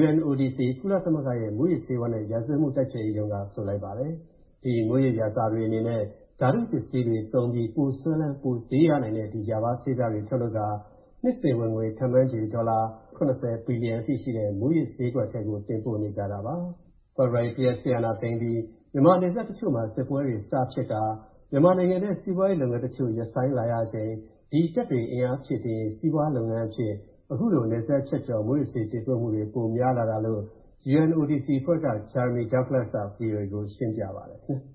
UNODC ကုလသမဂ္ဂရဲ့ မူးယစ်ဆေးဝါးနဲ့ ရာဇဝတ်မူတိုက်ဖျက်ရေးရုံးက ဆိုပါတယ်။ ဒီမူးယစ်ရာဇာတွေအနေနဲ့ ဓာတုပစ္စည်းတွေသုံးပြီး ပိုစွဲလန်း၊ ပိုဈေးရနိုင်တဲ့ ဒီ ရာဘားဆေးပြားတွေထုတ်လုပ်ကာ၊ နှစ်စဉ်ဝင်ငွေ ခန့်မှန်းခြေ၊ ဒေါ်လာ သန်း ၇၀ ဘီလီယံအထိရှိတဲ့ မူးယစ်ဈေးကွက်ထဲကို တင်ပို့နေကြတာပါ။ ဖေဖော်ဝါရီ ၁ ရက်စစ်အာဏာသိမ်းအပြီး မြန်မာနယ်စပ်တချိုမှာ စစ်ပွဲတွေစဖြစ်ပြီး၊ မြန်မာနိုင်ငံထဲ စီးပွားရေးလုပ်ငန်းတချိုရပ်ဆိုင်းလာချိန်၊ ဒီတပ်တွေအင်အားဖြည့်တင်းရေး စီးပွားလုပ်ငန်းအဖြစ်၊ အခုလို နယ်စပ်ဖြတ်ကျော် မူးယစ်ဆေးတင်ပို့မူတွေ ပိုများလာတာလို့၊ UNODC အဖွဲ့က Jeremy Douglas က VOA ကိုရှင်းပြပါတယ် ခင်ဗျ